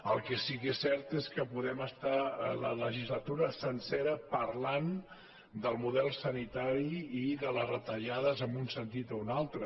el que sí que és cert és que podem estar la legislatura sencera parlant del model sanitari i de les retallades en un sentit o un al·tre